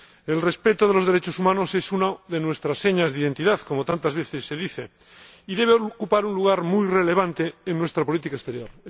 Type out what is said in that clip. El respeto de los derechos humanos es una de nuestras señas de identidad, como tantas veces se dice, y debe ocupar un lugar muy relevante en nuestra política exterior.